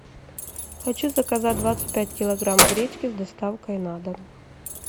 хочу заказать двадцать пять килограмм гречки с доставкой на дом